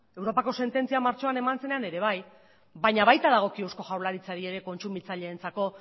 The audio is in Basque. europako sententzia martxoan eman zenean ere bai baina baita dagokio eusko jaurlaritzari ere kontsumitzaileentzako